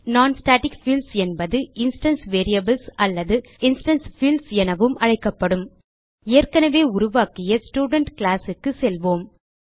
non static fields என்பது instance variables அல்லது instance fields எனவும் அழைக்கப்படும் ஏற்கனவே உருவாக்கிய ஸ்டூடென்ட் கிளாஸ் க்கு செல்வோம்